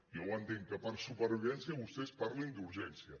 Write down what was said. jo entenc que per supervivència vostès parlin d’ urgència